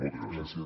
moltes gràcies